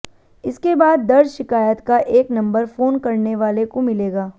इसके बाद दर्ज शिकायत का एक नंबर फोन करने वाले को मिलेगा